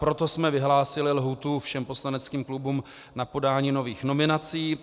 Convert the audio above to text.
Proto jsme vyhlásili lhůtu všem poslaneckým klubům na podání nových nominací.